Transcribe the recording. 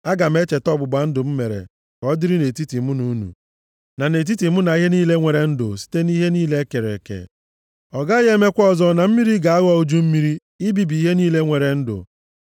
aga m echeta ọgbụgba ndụ m mere ka ọ dịrị nʼetiti mụ na unu, na nʼetiti mụ na ihe niile nwere ndụ site nʼihe niile e kere eke. Ọ gaghị emekwa ọzọ na mmiri ga-aghọ uju mmiri ibibi ihe niile nwere ndụ.